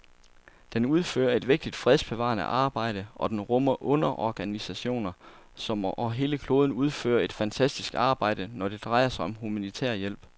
Den udfører et vigtigt fredsbevarende arbejde, og den rummer underorganisationer, som over hele kloden udfører et fantastisk arbejde, når det drejer sig om humanitær hjælp.